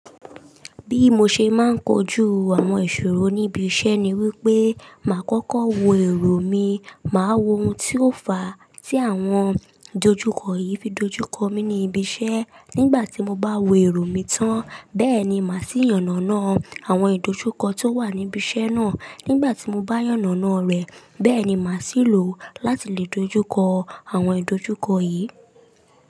Bí mo ṣe máa ń kojú àwọn ìṣòro níbi iṣẹ́ ni wípé, màá kókó wo èrò mi, màá wo ohun tí ó fà á tí àwọn ìdojúkọ yìí fi dojúkọ mi ní ibi iṣẹ́. Nígbà tí mo bá wo èrò mi tán, bẹ́ẹ̀ ni màá sì yànnàná àwọn ìdojúkọ tó wà níbi iṣẹ́ náà. Nígbà tí mo bá yànnàná rẹ̀, bẹ́ẹ̀ ni màá sì lò ó láti lè dojúkọ àwọn ìdojúkọ yìí.